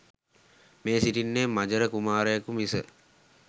මේ සිටින්නේ මජර කුමාරයකු මිස